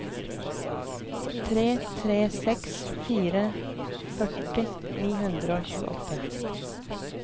tre tre seks fire førti ni hundre og tjueåtte